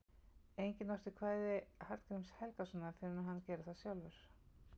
Enginn orti kvæði Hallgríms Helgasonar fyrr en hann gerði það sjálfur.